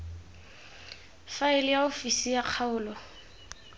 faele ya ofisi ya kgaolo